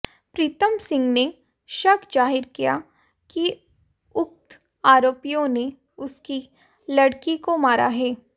प्रीतम सिंह ने शक जाहिर किया कि उक्त आरोपियों ने उसकी लड़की को मारा है